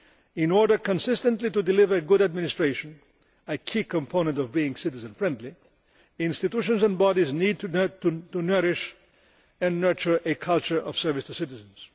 In order consistently to deliver good administration a key component of being citizen friendly institutions and bodies need to nourish and nurture a culture of service to citizens.